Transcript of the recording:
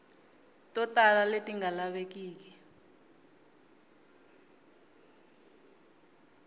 to tala leti nga lavekeki